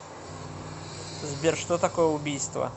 сбер что такое убийство